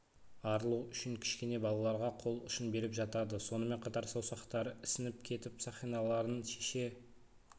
арылу үшін кішкене балаларға қол ұшын беріп жатады сонымен қатар саусақтары ісініп кетіп сақиналарын шеше